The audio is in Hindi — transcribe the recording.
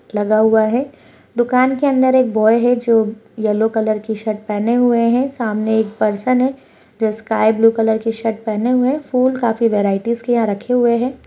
लगा हुआ है दुकान के अंदर एक बॉय है जो येलो कलर की शर्ट पहने हुए हैं सामने एक पर्सन है जो स्काई ब्लू कलर की शर्ट पहने हुए है फूल काफी वैरायटीज़ के यहां रखे हुए हैं।